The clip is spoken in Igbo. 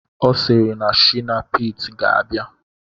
Ọ sịrị na shina pete ga-abịa